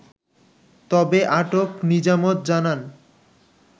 তবে আটক নিজামত জানান